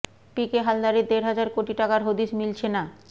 পিকে হালদারের দেড় হাজার কোটি টাকার হদিস মিলছে না